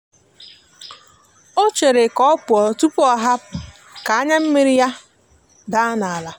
o chere ka ọ pụọ tụpụ ọhapụ ka anya miri ya daa n'ala.